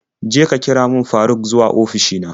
Je ka kira min Faruk zuwa ofishi na.